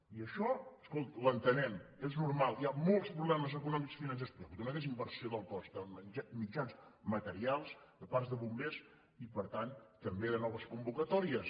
i això ho entenem és normal hi ha molts problemes econòmics financers però hi ha hagut una desinversió del cos de mitjans materials de parcs de bombers i per tant també de noves convocatòries